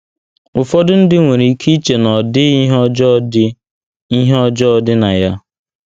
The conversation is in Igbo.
Ụfọdụ ndị nwere ike iche na ọ dịghị ihe ọjọọ dị ihe ọjọọ dị na ya.